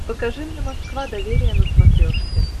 покажи мне москва доверие на смотрешке